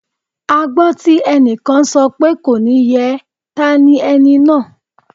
A gbọ́ tí ẹnìkan sọ pé "kò ní yẹ ẹ́" ta ni ẹni náà?